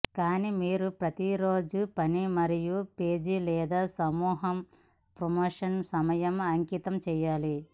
కానీ మీరు ప్రతి రోజు పని మరియు మీ పేజీ లేదా సమూహం ప్రమోషన్ సమయం అంకితం చేయాలి